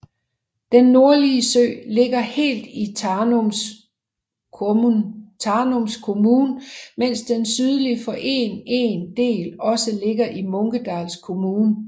Den nordlige sø ligger helt i Tanums kommun mens den sydlige for en en del også ligger i Munkedals kommun